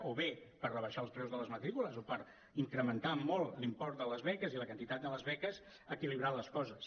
o bé per rebaixar els preus de les matrícules o per incrementar molt l’import de les beques i la quantitat de les beques equilibrar les coses